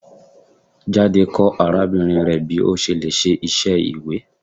Jade kọ arabinrin rẹ bi o ṣe le ṣe iṣẹ iwe